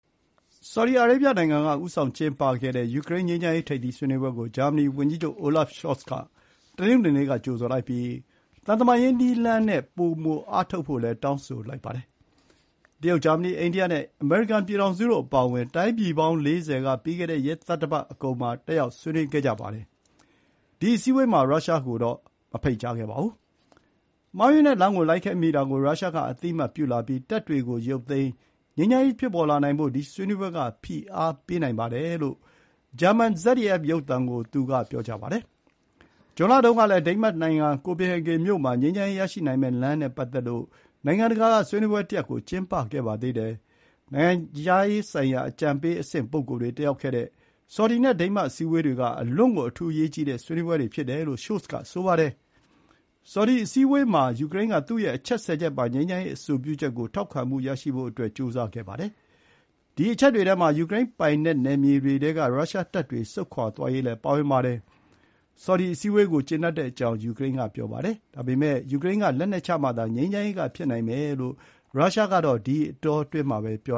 ဆော်ဒီအရေဗျနိုင်ငံက ဦးဆောင်ကျင်းပတဲ့ ယူကရိန်းငြိမ်းချမ်းရေး ထိပ်သီး ဆွေးနွေးပွဲကို ဂျာမနီဝန်ကြီးချုပ် Olaf Scholz က တနင်္ဂနွေနေ့က ကြိုဆိုလိုက်ပြီး သံတမန်ရေးနည်းလမ်းနဲ့ ပိုမိုအားထုတ်ဖို့လည်း တောင်းဆိုလိုက်ပါတယ်။ တရုတ်၊ ဂျာမနီ၊ အိန္ဒိယနဲ့ အမေရိကန်ပြည်ထောင်စုတို့အပါအဝင် တိုင်းပြည်ပေါင်း ၄၀ က ပြီးခဲ့တဲ့ ရက်သတ္တပတ်အကုန်မှာ တက်ရောက်ဆွေးနွေးခဲ့ကြပါတယ်။ ဒီ အစည်းအဝေးမှာ ရုရှားကိုတော့မဖိတ်ကြားခဲ့ပါဘူး။ “မှားယွင်းတဲ့လမ်းကိုလိုက်ခဲ့မိတာကို ရုရှားက အသိအမှတ်ပြုလာပြီး တပ်တွေကို ရုပ်သိမ်း၊ ငြိမ်းချမ်းရေးဖြစ်ပေါ်လာနိုင်ဖို့ ဒီဆွေးနွေးပွဲတွေက ဖိအားပေးနိုင်လို့ပါ။” လို့ ဂျာမန် ZDF ရုပ်သံကို သူက ပြောပါတယ်။ ဇွန်လတုန်းကလည်း ဒိန်းမတ်နိုင်ငံ ကိုပင်ဟေဂင်မြို့မှာ ငြိမ်းချမ်းရေးရရှိနိုင်မယ့်လမ်းနဲ့ပတ်သက်လို့ နိုင်ငံတကာက ဆွေးနွေးပွဲတရပ် ကျင်းပခဲ့ပါသေးတယ်။ နိုင်ငံခြားရေးဆိုင်ရာ အကြံပေးအဆင့်ပုဂ္ဂိုလ်တွေတက်ရောက်ခဲ့တဲ့ ဆော်ဒီနဲ့ ဒိန်းမတ် အစည်းအဝေးတွေက အလွန့်ကို အထူးအရေးကြီးတဲ့ဆွေးနွေးပွဲတွေ ဖြစ်တယ်လို့ ရှို့လ်ဇ်က ပြောပါတယ်။ ဆော်ဒီအစည်းအဝေးပွဲမှာ ယူကရိန်းက သူ့ရဲ့ အချက် ၁၀ ချက်ပါ ငြိမ်းချမ်းရေး အဆိုပြုချက်ကို ထောက်ခံမှုရရှိဖို့ ကြိုးစားခဲ့ပါတယ်။ ဒီအချက်တွေထဲမှာ ယူကရိန်းပိုင်နက်နယ်မြေတွေထဲက ရုရှားတပ်တွေဆုတ်ခွါသွားရေး ပါဝင်ပါတယ်။ ဆော်ဒီအစည်းအဝေးကို ကျေနပ်ကြောင်း ယူကရိန်းကပြောပါတယ်။ ယူကရိန်း ကလက်နက်ချမှသာ ငြိမ်းချမ်းရေးကဖြစ်နိုင်မယ်လို့ ရုရှားက ဒီအတောအတွင်းမှာပဲ ပြော